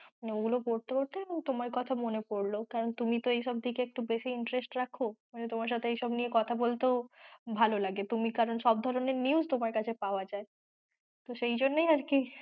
ওগুলো পড়তে পড়তে তোমার কথা মনে পড়লো কারন তুমি তো এইসব দিকে একটু বেশি interest রাখো, তোমার সাথে এইসব নিয়ে কথা বলতেও ভালো লাগে কারন সব ধরনের news তোমার কাছে পাওয়া যায়।